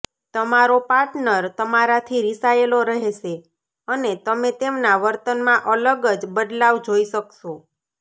તમારો પાર્ટનર તમારાથી રિસાયેલો રહેશે અને તમે તેમના વર્તનમાં અલગ જ બદલાવ જોઈ શકશો